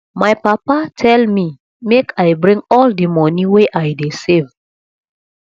my papa tell me make i bring all the money wey i dey save